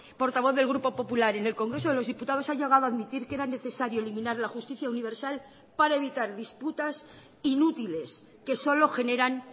portavoz del grupo popular en el congreso de los diputados ha llegado a admitir que era necesario eliminar la justicia universal para evitar disputas inútiles que solo generan